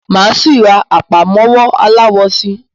Máa síí rá àpámọ́wọ́ aláwọ síí